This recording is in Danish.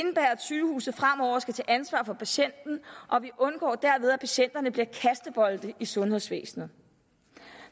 sygehuset fremover skal tage ansvar for patienten og vi undgår derved at patienterne bliver kastebolde i sundhedsvæsenet